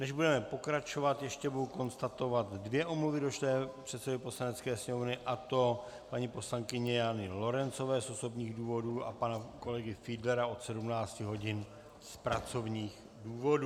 Než budeme pokračovat, ještě budu konstatovat dvě omluvy došlé předsedovi Poslanecké sněmovny, a to paní poslankyně Jany Lorencové z osobních důvodů a pana kolegy Fiedlera od 17 hodin z pracovních důvodů.